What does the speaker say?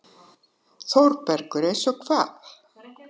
ÞÓRBERGUR: Eins og hvað?